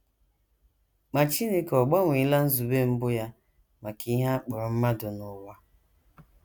Ma Chineke ọ̀ gbanweela nzube mbụ ya maka ihe a kpọrọ mmadụ na ụwa?